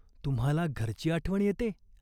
तुम्हाला घरची आठवण येते ?